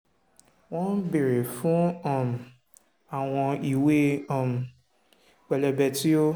wọ́n béèrè fún um àwọn ìwé um pẹlẹbẹ tí ó